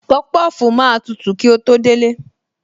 Popofu máa tutù kí ó tó délé